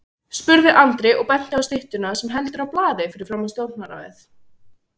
spurði Andri og benti á styttuna sem heldur á blaði fyrir framan Stjórnarráðið.